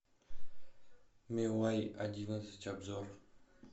миувей одиннадцать обзор